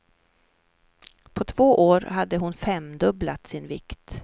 På två år hade hon femdubblat sin vikt.